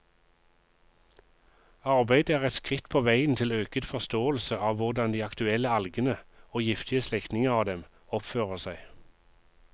Arbeidet er et skritt på veien til øket forståelse av hvordan de aktuelle algene, og giftige slektninger av dem, oppfører seg.